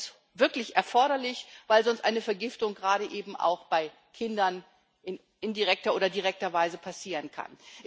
Das ist wirklich erforderlich, weil sonst eine Vergiftung gerade auch bei Kindern in indirekter oder direkter Weise passieren kann.